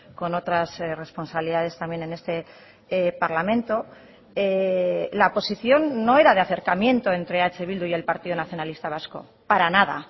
con otras responsabilidades también en este parlamento la posición no era de acercamiento entre eh bildu y el partido nacionalista vasco para nada